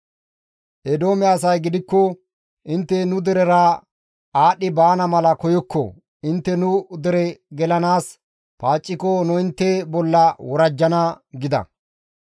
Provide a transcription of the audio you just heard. Eedoome asay gidikko, «Intte nu derera aadhdhi baana mala koyokko; intte nu dere gelanaas paacciko nu intte bolla worajjana» gida.